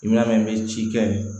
Minɛn min bɛ ci kɛ